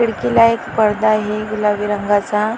खिडकीला एक पडदा आहे गुलाबी रंगाचा.